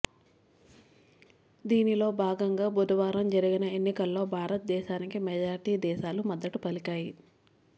దీనిలో భాగంగా బుధవారం జరిగిన ఎన్నికల్లో భారతదేశానికి మెజార్టీ దేశాలు మద్దతు పలికాయి